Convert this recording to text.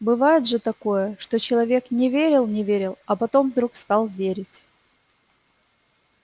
бывает же такое что человек не верил не верил а потом вдруг стал верить